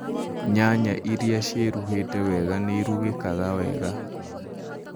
Nyaya irĩa ciĩruhĩte wega nĩirugĩkaga wega